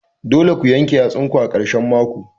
Dole ku yanke yatsun ku ã karshen mako.